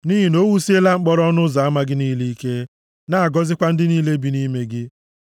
Nʼihi na o wusiela mkpọrọ ọnụ ụzọ ama gị niile ike, na-agọzikwa ndị niile bi nʼime gị.